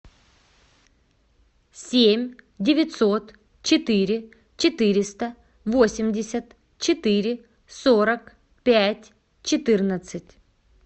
семь девятьсот четыре четыреста восемьдесят четыре сорок пять четырнадцать